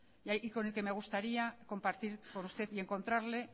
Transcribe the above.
y con el que me gustaría compartir con usted y encontrarle